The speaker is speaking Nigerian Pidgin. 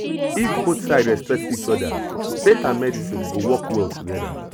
if both sides respect each other faith and medicine go work well together